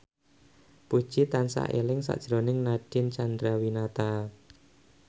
Puji tansah eling sakjroning Nadine Chandrawinata